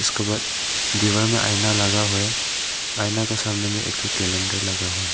इसके बाद दीवार में आईना लगा हुआ हैं आईना के सामने में एक ठो कैलेंडर लगा हुआ हैं।